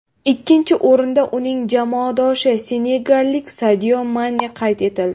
Ikkinchi o‘rinda uning jamoadoshi, senegallik Sadio Mane qayd etildi.